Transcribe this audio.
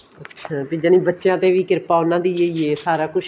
ਅੱਛਿਆ ਤੇ ਯਾਨੀ ਬੱਚਿਆਂ ਤੇ ਵੀ ਕਿਰਪਾ ਉਹਨਾ ਦੀ ਹੈ ਸਾਰਾ ਕੁੱਛ